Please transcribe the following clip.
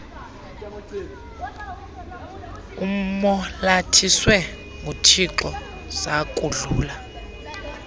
umolathiswe nguthixo zakudlula